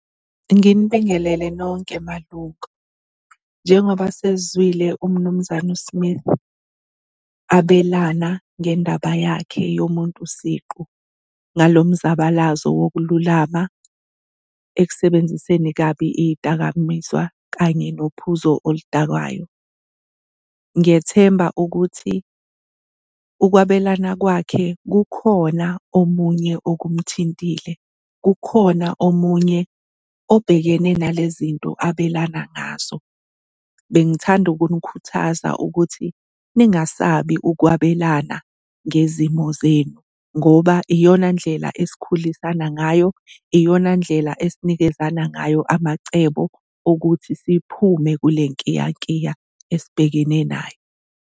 Nginibingelele nonke malunga. Njengoba sesizwile umnumzane uSmith abelana ngendaba yakhe yomuntu siqu ngalo mzabalazo wokululama ekusebenziseni kabi iy'dakamizwa kanye nophuzo oludakwayo. Ngiyethemba ukuthi ukwabelana kwakhe kukhona omunye okumthintile, kukhona omunye obhekene nale zinto abelana ngazo. Bengithanda ukunikhuthaza ukuthi ngingasabi ukwabelana ngezimo zenu ngoba iyona ndlela esikhulisana ngayo, iyona ndlela esinikezana ngayo amacebo okuthi siphume kule nkiyankiya esibhekene nayo.